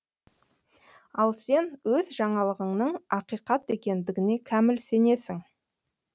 ал сен өз жаңалығыңның ақиқат екендігіне кәміл сенесің